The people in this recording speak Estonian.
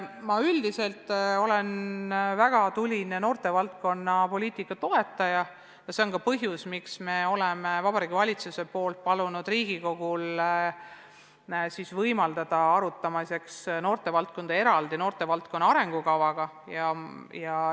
Ma olen väga tuline noortevaldkonna poliitika toetaja ja see on ka põhjus, miks Vabariigi Valitsus on palunud Riigikogul võtta arutusele eraldi küsimusena noortevaldkonna arengukava.